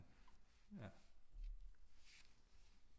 Ja